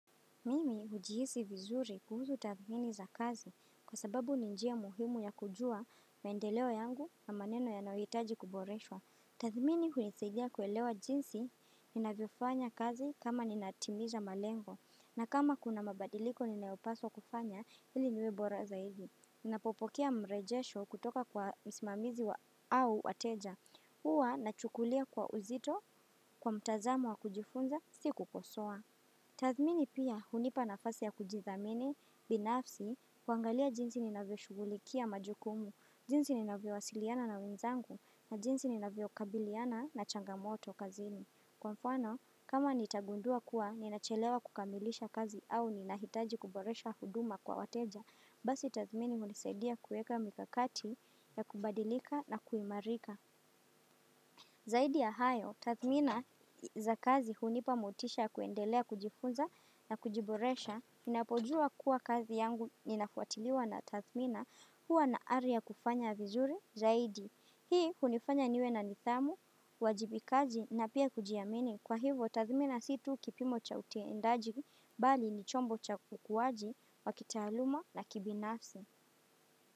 Mimi hujihisi vizuri kuhusu tathmini za kazi kwa sababu ni njia muhimu ya kujua maendeleo yangu na maneno yanayohitaji kuboreshwa. Tathmini hunisaidia kuelewa jinsi ninavyofanya kazi kama ninatimiza malengo na kama kuna mabadiliko ninayopaswa kufanya ili niwe bora zaidi. Ninapopokea mrejesho kutoka kwa msimamizi wa au wateja. Huwa nachukulia kwa uzito kwa mtazamo wa kujifunza sikukosoa. Tathmini pia hunipa nafasi ya kujithamini binafsi kuangalia jinsi ninavyoshughulikia majukumu, jinsi ninavyowasiliana na wenzangu na jinsi ninavyokabiliana na changamoto kazini. Kwa mfano, kama nitagundua kuwa ninachelewa kukamilisha kazi au ninahitaji kuboresha huduma kwa wateja, basi tathmini hunisaidia kuweka mikakati ya kubadilika na kuimarika. Zaidi ya hayo, tathmina za kazi hunipa motisha ya kuendelea kujifunza na kujiboresha, ninapojua kuwa kazi yangu ninafuatiliwa na tathmina huwa na ari ya kufanya vizuri zaidi. Hii hunifanya niwe na nithamu, uwajibikaji na pia kujiamini. Kwa hivo, tathmina si tu kipimo cha utendaji, bali ni chombo cha kukuwaji, wa kitaaluma na kibinafsi.